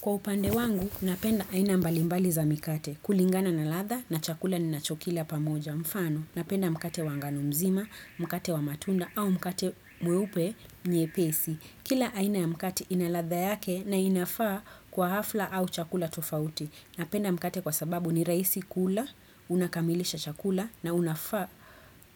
Kwa upande wangu, napenda aina mbalimbali za mikate. Kulingana na ladha na chakula ninachokila pamoja mfano. Napenda mkate wa ngano mzima, mkate wa matunda au mkate mweupe nyepesi. Kila aina ya mkate inaladha yake na inafaa kwa hafla au chakula tofauti. Napenda mkate kwa sababu ni rahisi kula, unakamilisha chakula na unafaa